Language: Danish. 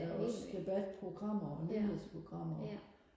der er også debatprogrammer og nyhedsprogrammer